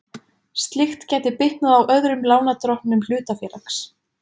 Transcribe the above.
Slíkt gæti bitnað á öðrum lánardrottnum hlutafélags.